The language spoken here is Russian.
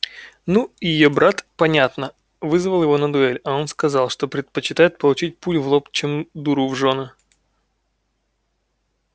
ну и её брат понятно вызвал его на дуэль а он сказал что предпочитает получить пулю в лоб чем дуру в жёны